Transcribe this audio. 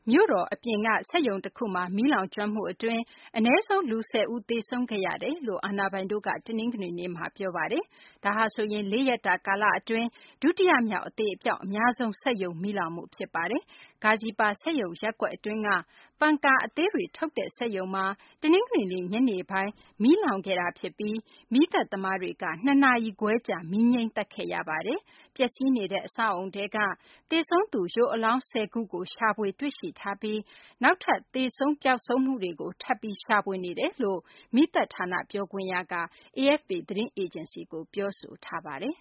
မြို့တော် ဒါကာ အပြင်က စက်ရုံတခုမှာ မီးလောင်ကျွမ်းမှုအတွင်း အနည်းဆုံး လူ ၁၀ ဦး သေဆုံးကြောင်း အာဏာပိုင်တို့က တနင်္ဂနွေနေ့မှာ ပြောပါတယ်။ ဒါဟာဆိုရင် လေးရက်တာ ကာလအတွင်း ဒုတိယမြောက် အသေအပျောက် အများဆုံး စက်ရုံမီးလောင်မှု ဖြစ်ပါတယ်။ Gazipur စက်ရုံရပ်ကွက် အတွင်းက ပန်ကာအသေးတွေ ထုတ်လုပ်တဲ့ စက်ရုံမှာ တနင်္ဂနွေနေ့ ညနေပိုင်း မီးလောင်ခဲ့တာဖြစ်ပြီး မီးသတ်သမားတွေ ၂ နာရီခွဲကြာ မီးငြှိမ်းသတ်ခဲ့ရပါတယ်။ ပျက်စီးနေတဲ့ အဆောက်အအုံထဲကနေ သေဆုံးသူ ရုပ်အလောင်း ၁၀ ခုကို ရှာဖွေ တွေ့ရှိထားပြီး နောက်ထပ် သေဆုံးပျောက်ဆုံးမှုတွေကို ထပ်ပြီး ရှာဖွေနေတယ်လို့ မီးသတ်ဌာန ပြောခွင့်ရ Zillur Rahman က AFP ကို ပြောဆိုပါတယ်။